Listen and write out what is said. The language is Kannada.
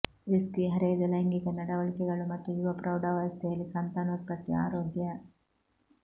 ರಿಸ್ಕಿ ಹರೆಯದ ಲೈಂಗಿಕ ನಡವಳಿಕೆಗಳು ಮತ್ತು ಯುವ ಪ್ರೌಢಾವಸ್ಥೆಯಲ್ಲಿ ಸಂತಾನೋತ್ಪತ್ತಿ ಆರೋಗ್ಯ